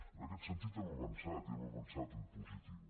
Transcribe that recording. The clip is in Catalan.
en aquest sentit hem avançat i hem avançat en positiu